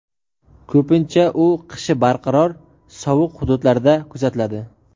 ko‘pincha u qishi barqaror sovuq hududlarda kuzatiladi.